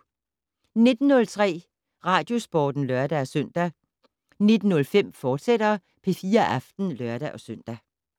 19:03: Radiosporten (lør-søn) 19:05: P4 Aften, fortsat (lør-søn)